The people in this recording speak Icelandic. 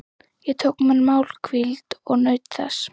Ég tók mér málhvíld og naut þess.